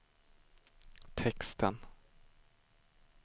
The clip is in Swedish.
texten